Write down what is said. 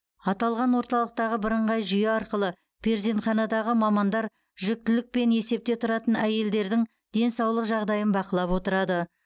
аталған орталықтағы бірыңғай жүйе арқылы перзентханадағы мамандар жүктілікпен есепте тұратын әйелдердің денсаулық жағдайын бақылап отырады